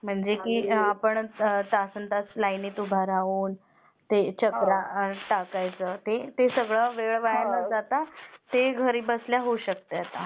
म्हणजे जिथं लाईनी मध्ये तासंतास उभं राहून, चकरा टाकायच्या, तो सगळं वेळ वाया न जाता, ते घरी बसल्या होऊ शकतंय आता